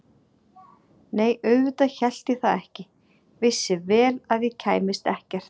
Nei auðvitað hélt ég það ekki, vissi vel að ég kæmist ekkert.